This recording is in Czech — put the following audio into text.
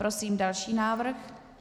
Prosím další návrh.